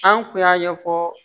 An kun y'a ɲɛfɔ